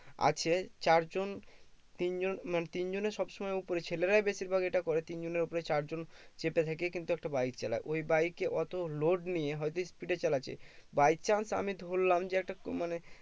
আছে চার জন তিন জন মানে তিন জনের সব সময় উপরে ছেলেরাই বেশির ভাগ এটা করে তিন জনের উপরে চার জন চেপে থেকে কিন্তু একটা bike চালায় ওই bike এ অতো load নিয়ে হয়তো speed এ চালাচ্ছে by chance আমি ধরলাম যে একটা মানে